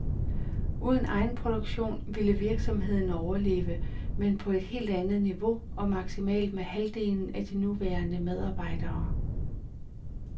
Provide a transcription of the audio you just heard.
Uden egenproduktion ville virksomheden overleve, men på et helt andet niveau og maksimalt med halvdelen af de nuværende medarbejdere.